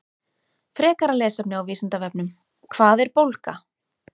Frekara lesefni á Vísindavefnum: Hvað er bólga?